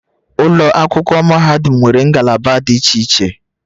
Ụlọ akwụkwọ mahadum nwere ngalaba dị iche iche